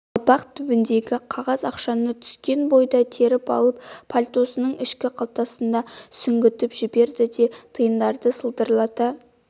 қалпақ түбіндегі қағаз ақшаны түскен бойда теріп алып пальтосының ішкі қалтасына сүңгітіп жібереді де тиындарды сылдырлата